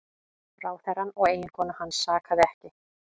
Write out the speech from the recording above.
Ráðherrann og eiginkonu hans sakaði ekki